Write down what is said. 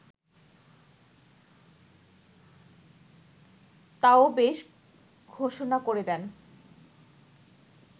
তাও বেশ ঘোষণা করে দেন